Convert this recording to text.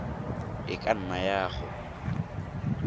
e ka nna ya go